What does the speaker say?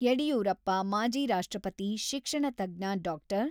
ಯಡಿಯೂರಪ್ಪ ಮಾಜಿ ರಾಷ್ಟ್ರಪತಿ, ಶಿಕ್ಷಣ ತಜ್ಞ ಡಾ.